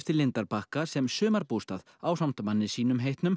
lindarbakka sem sumarbústað ásamt manni sínum heitnum